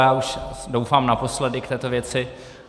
Já už doufám naposledy k této věci.